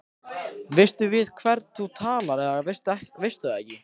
Veistu við hvern þú talar eða veistu það ekki.